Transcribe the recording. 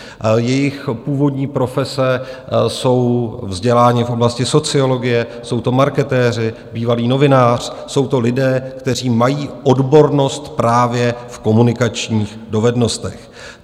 Jejich původní profese - jsou vzděláni v oblasti sociologie, jsou to marketéři, bývalý novinář, jsou to lidé, kteří mají odbornost právě v komunikačních dovednostech.